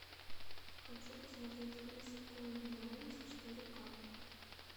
хочу посмотреть мисс конгениальность четыре ка